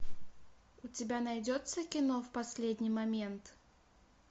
у тебя найдется кино в последний момент